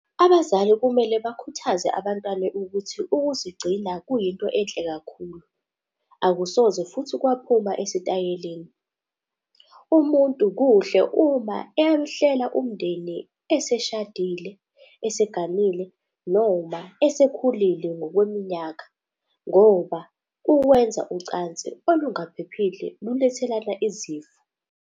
Abazali kumele bakhuthaze abantwane ukuthi ukuzigcina kuyinto enhle kakhulu, akusoze futhi kwaphuma esitayeleni. Umuntu kuhle uma ewuhlela umndeni eseshadile, eseganile noma esekhulile ngokweminyaka ngoba uwenza ucansi olungaphephile lulethelana izifo.